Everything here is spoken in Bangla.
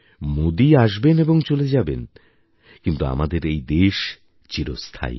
মোদী আসবেন এবং চলে যাবেন কিন্তু আমাদের এই দেশ চিরস্থায়ী